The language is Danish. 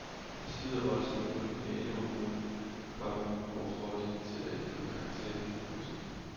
Det slider voldsomt på lokalområdet, komma og får det til at ændre karakter. punktum